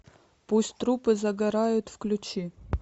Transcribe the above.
пусть трупы загорают включи